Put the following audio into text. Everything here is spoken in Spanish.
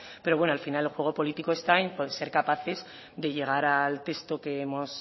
pero bueno al final el juego político está en ser capaces de llegar al texto que hemos